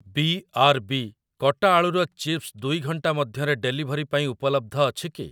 ବି R B କଟା ଆଳୁର chips ଦୁଇ ଘଣ୍ଟାମଧ୍ୟରେ ଡେଲିଭରି ପାଇଁ ଉପଲବ୍ଧ ଅଛି କି?